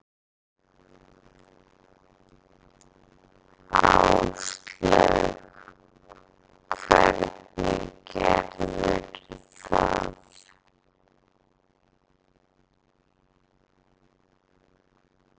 Áslaug: Hvernig gerðirðu það?